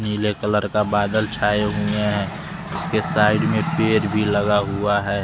नीले कलर का बादल छाए हुए हैं इसके साइड में पेर भी लगा हुआ है।